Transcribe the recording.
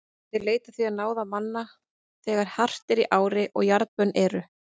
Þeir leita því á náðir manna þegar hart er í ári og jarðbönn eru.